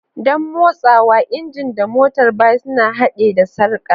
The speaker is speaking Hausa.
Don motsawa, injin da motar baya suna haɗe da sarka.